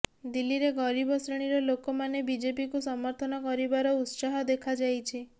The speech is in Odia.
ଦିଲ୍ଲୀରେ ଗରିବ ଶ୍ରେଣୀର ଲୋକମାନେ ବିଜେପିକୁ ସମର୍ଥନ କରିବାର ଉତ୍ସାହ ଦେଖାଯାଇଛି